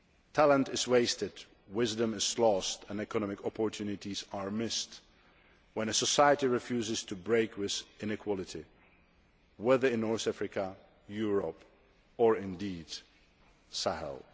Talent is wasted, wisdom is lost and economic opportunities are missed when a society refuses to break with inequality, whether in North Africa, Europe or indeed the Sahel.